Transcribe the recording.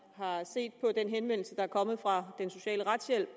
har set på den henvendelse der er kommet fra den sociale retshjælp